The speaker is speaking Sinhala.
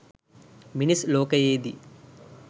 මිනිස් ලෝකයේ දී